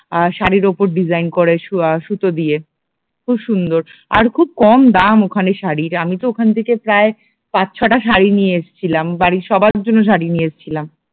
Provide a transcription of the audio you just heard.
আর শাড়ির উপর ডিজাইন করে সু আহ সুতো দিয়ে খুব সুন্দর আর খুব কম দাম ওখানে শাড়ির আমি তো ওখান থেকে প্রায় পাঁচ ছটা শাড়ি নিয়ে এসেছিলাম বাড়ির সবার জন্য শাড়ি নিয়ে এসেছিলাম